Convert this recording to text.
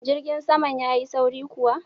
Jirgin kasan ya Yi sauri kuwa?